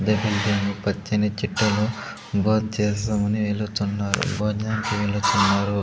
పచ్చని చెట్టును బో చేస్దాం అని వెళ్లుచున్నారు భోజనంకి వెళ్లుచున్నారు.